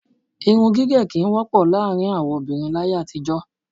Irun gíge kí í wọ́pọ̀ láàárín àwọn obìnrin láàyè àtijó.